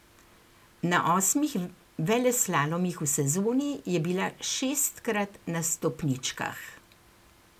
Na osmih veleslalomih v sezoni je bila šestkrat na stopničkah.